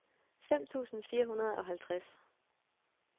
fem tusind fire hundrede og halvtreds